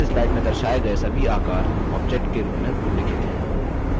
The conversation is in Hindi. इस slide में दर्शाये गये सभी आकार objects के रूप में उल्लिखित हैं